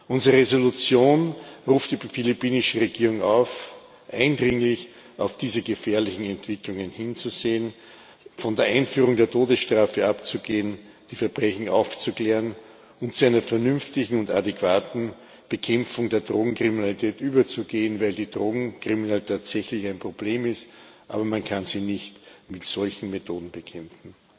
Unsere Entschließung ruft die philippinische Regierung auf, eindringlich auf diese gefährlichen Entwicklungen hinzusehen, von der Einführung der Todesstrafe abzugehen, die Verbrechen aufzuklären und zu einer vernünftigen und adäquaten Bekämpfung der Drogenkriminalität überzugehen, weil die Drogenkriminalität tatsächlich ein Problem ist, das man aber nicht mit solchen Methoden bekämpften